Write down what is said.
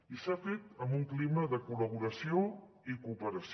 i s’ha fet en un clima de collaboració i cooperació